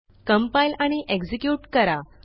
compile आणि execute करा